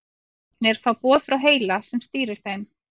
Vöðvarnir fá boð frá heila sem stýrir þeim.